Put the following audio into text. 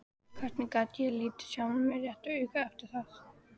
Hvernig gat ég litið sjálfan mig réttu auga eftir það?